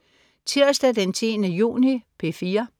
Tirsdag den 10. juni - P4: